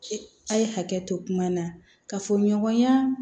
A' ye hakɛ to kuma na ka fɔ ɲɔgɔnya